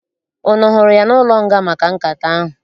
Unu hụrụ ya n'ụlọnga maka nkata ahụ?